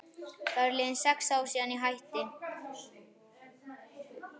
Það eru liðin sex ár síðan ég hætti.